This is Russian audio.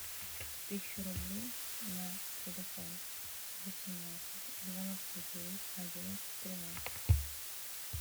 тысячу рублей на телефон восемнадцать девяносто девять одиннадцать тринадцать